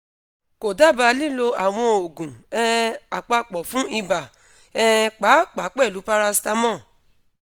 ko daba lilo awọn oogun um apapọ fun iba um paapaa pẹlu paracetamol